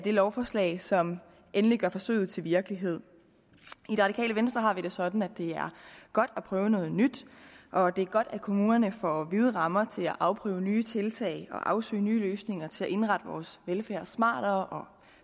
lovforslag som endelig gør forsøget til virkelighed i det radikale venstre har vi det sådan at det er godt at prøve noget nyt og at det er godt at kommunerne får vide rammer til at afprøve nye tiltag og afsøge nye løsninger til at indrette vores velfærd smartere